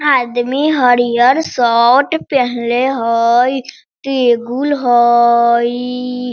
आदमी हरियर शर्ट पेहनले हई टेबुल हईई।